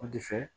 O de fɛ